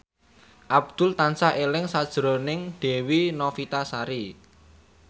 Abdul tansah eling sakjroning Dewi Novitasari